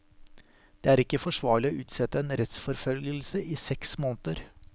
Det er ikke forsvarlig å utsette en rettsforfølgelse i seks måneder.